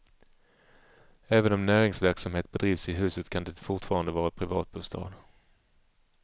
Även om näringsverksamhet bedrivs i huset kan det fortfarande vara privatbostad.